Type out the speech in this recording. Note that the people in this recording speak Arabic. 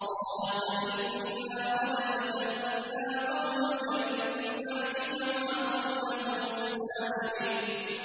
قَالَ فَإِنَّا قَدْ فَتَنَّا قَوْمَكَ مِن بَعْدِكَ وَأَضَلَّهُمُ السَّامِرِيُّ